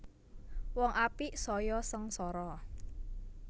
Wong apik saya sengsara